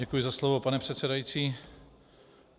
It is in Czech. Děkuji za slovo pane předsedající.